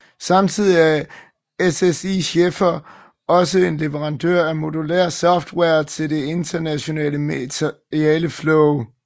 Samtidig er SSI Schäfer også en leverandør af modulær software til det interne materialeflow